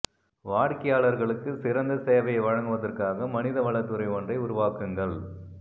வாடிக்கையாளர்களுக்கு சிறந்த சேவையை வழங்குவதற்காக மனித வள துறை ஒன்றை உருவாக்குங்கள்